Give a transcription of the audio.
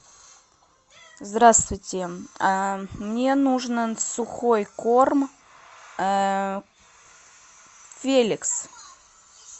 здравствуйте мне нужно сухой корм феликс